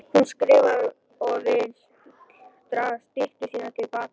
Hún skrifar og vill draga styttu sína til baka.